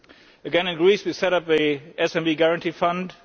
Again in Greece, we set up the SME Guarantee Fund.